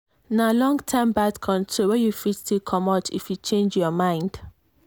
na long-term birth control wey you fit still comot if you change your mind.